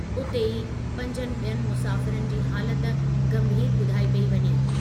उते ई, पंजनि ॿियनि मुसाफ़िरनि जी हालति गंभीरु ॿुधाई पेई वञे।